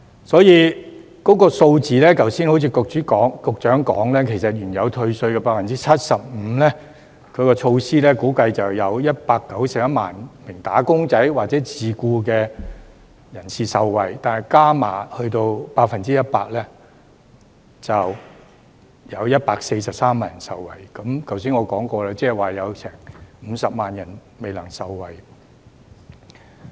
所以，在數字上，正如局長剛才指出，原退稅 75% 的措施估計會有約191萬名"打工仔"或自僱人士受惠，而再加碼到 100% 後，就會有143萬人受惠，即是正如我剛才所說，有50萬人未能受惠。